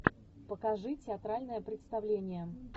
покажи театральное представление